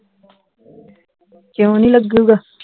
ਕਿਓਂ ਨੀ ਲੱਗੂਗਾ